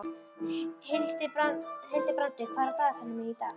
Hildibrandur, hvað er á dagatalinu mínu í dag?